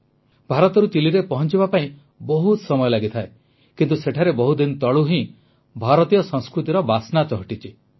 ଭାରତରୁ ଚିଲିରେ ପହଂଚିବା ପାଇଁ ବହୁତ ସମୟ ଲାଗିଥାଏ କିନ୍ତୁ ସେଠାରେ ବହୁଦିନ ତଳୁ ହିଁ ଭାରତୀୟ ସଂସ୍କୃତିର ବାସ୍ନା ଚହଟିଛି